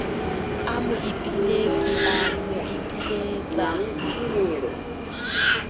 a moipiletsi a boipilets la